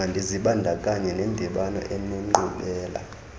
mandizibandakanye nendibano enenkqubela